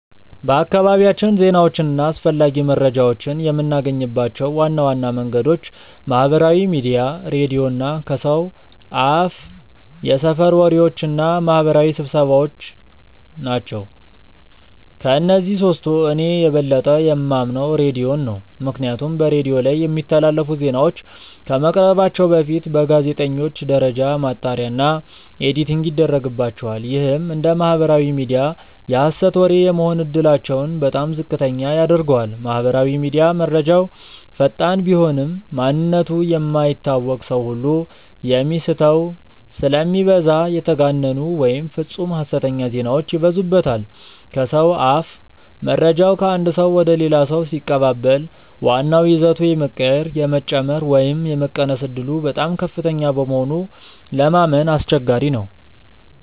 በአካባቢያችን ዜናዎችን እና አስፈላጊ መረጃዎችን የምናገኝባቸው ዋና ዋና መንገዶች ማህበራዊ ሚዲያ፣ ሬዲዮ እና ከሰው አፍየሰፈር ወሬዎች እና ማህበራዊ ስብሰባዎ ናቸው። ከእነዚህ ሶስቱ እኔ የበለጠ የማምነው ሬዲዮን ነው። ምክንያቱም በሬዲዮ ላይ የሚተላለፉ ዜናዎች ከመቅረባቸው በፊት በጋዜጠኞች ደረጃ ማጣሪያ እና ኤዲቲንግ ይደረግባቸዋል። ይህም እንደ ማህበራዊ ሚዲያ የሀሰት ወሬ የመሆን እድላቸውን በጣም ዝቅተኛ ያደርገዋል። ማህበራዊ ሚዲያ፦ መረጃው ፈጣን ቢሆንም፣ ማንነቱ የማይታወቅ ሰው ሁሉ የሚโพስተው ስለሚበዛ የተጋነኑ ወይም ፍፁም ሀሰተኛ ዜናዎች ይበዙበታል። ከሰው አፍ፦ መረጃው ከአንድ ሰው ወደ ሌላ ሰው ሲቀባበል ዋናው ይዘቱ የመቀየር፣ የመጨመር ወይም የመቀነስ ዕድሉ በጣም ከፍተኛ በመሆኑ ለማመን አስቸጋሪ ነው።